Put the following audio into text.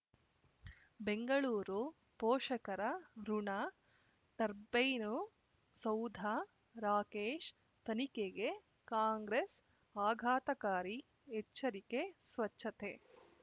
ಬೆಂಗಳೂರು ಪೋಷಕರಋಣ ಟರ್ಬೈನು ಸೌಧ ರಾಕೇಶ್ ತನಿಖೆಗೆ ಕಾಂಗ್ರೆಸ್ ಆಘಾತಕಾರಿ ಎಚ್ಚರಿಕೆ ಸ್ವಚ್ಛತೆ